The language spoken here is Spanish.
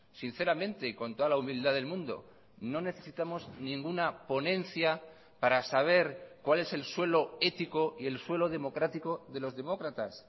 sinceramente y con toda la humildad del mundo no necesitamos ninguna ponencia para saber cuál es el suelo ético y el suelo democrático de los demócratas